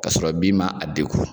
Ka sɔrɔ bin ma a dekun .